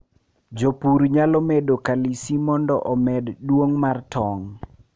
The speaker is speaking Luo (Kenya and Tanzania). jopur nyalo medo kalisi mondo omed duong mar tong